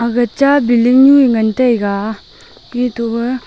aga cha building nu ee ngan taiga etoh e--